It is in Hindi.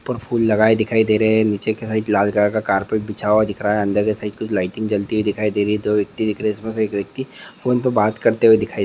पर फूल दिखाए दे रहे है। नीच अंदर के साइड कुछ लाइटिंग दिखाई दे रही है। टू व्यक्ति